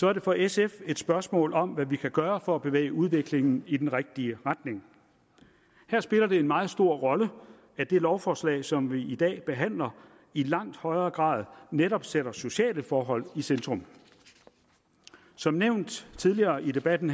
er det for sf et spørgsmål om hvad vi kan gøre for at bevæge udviklingen i den rigtige retning her spiller det en meget stor rolle at det lovforslag som vi i dag behandler i langt højere grad netop sætter sociale forhold i centrum som nævnt tidligere i debatten